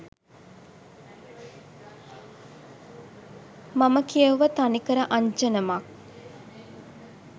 මම කියෙව්ව තනිකර අන්ජනමක්.